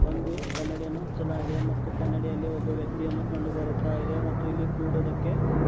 ಒಂದು ಕನ್ನಡಿಯನ್ನು ಹಚ್ಚಲಾಗಿದೆ ಮತ್ತು ಕನ್ನಡಿಯಲ್ಲಿ ಒಬ್ಬ ವ್ಯಕ್ತಿಯನ್ನು ಕಂಡು ಬರುತ್ತಾ ಇದೆ ಮತ್ತೆ ಇಲ್ಲಿ ಕೂಡುವುದಕ್ಕೆ.